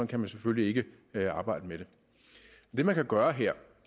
kan man selvfølgelig ikke arbejde med det det man kan gøre her